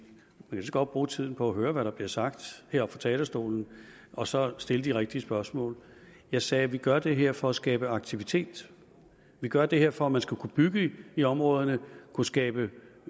så godt bruge tiden på at høre hvad der bliver sagt heroppe fra talerstolen og så stille de rigtige spørgsmål jeg sagde vi gør det her for at skabe aktivitet vi gør det her for at man skal kunne bygge i områderne kunne skabe